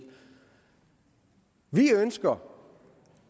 vi ønsker